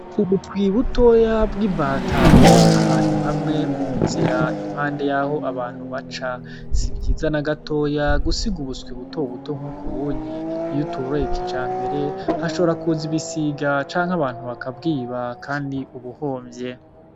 Ubuswi butoya bw'imbata buri ahantu hamwe mu nzira impande yaho abantu baca, sivyiza na gatoya gusiga ubuswi buto buto nkuku unye iyutoroye kijambere hashobora kuza ibisiga canke abantu bakabwiba kandi uba uhonvye.